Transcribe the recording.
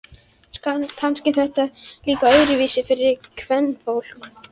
Kannski er þetta líka öðruvísi fyrir kvenfólk.